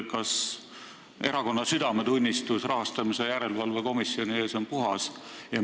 Kas erakonna südametunnistus on rahastamise järelevalve komisjoni ees puhas?